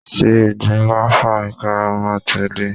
tí igbín ba fa, ikarun a telé